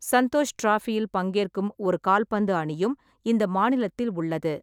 சந்தோஷ் டிராபியில் பங்கேற்கும் ஒரு கால்பந்து அணியும் இந்த மாநிலத்தில் உள்ளது.